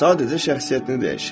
Sadəcə şəxsiyyətini dəyişir.